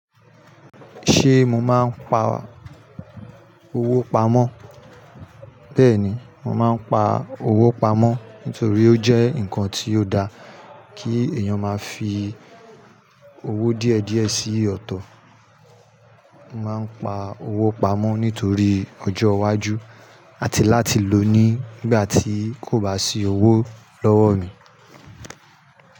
Ṣé mo máa ń pa owó pamọ́? Bẹ́ẹ̀ni, mo máa ń pa owó pamọ́ nítorí ó jẹ́ nǹkan tí ó dá kí èèyàn máa fi owó díẹ̀ díẹ̀ sí ọ̀tọ̀. Mo máa ń pa owó pamọ́ nítorí ọjọ́ iwájú àti láti lò ó nígbà tí kò bá sí owó lọ́wọ́ mi.